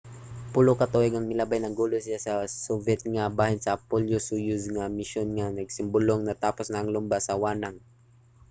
pulo ka tuig ang milabay nangulo siya sa soviet nga bahin sa apollo–soyuz nga misyon nga nagsimbolong natapos na ang lumba sa wanang